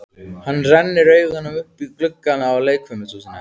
Hann rennir augunum upp í gluggana á leikfimihúsinu.